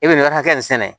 E bɛ nin ka hakɛ in sɛnɛ